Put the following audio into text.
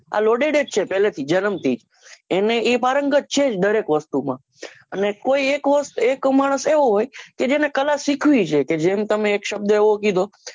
આ loaded જ છે પહેલે થી જનમ થી એને એ પારંગત છે જ દરેક વસ્તુમાં કોઈ એક હોય એક માણસ એવો હોય જેને તમે એક સબદ એવો કીધો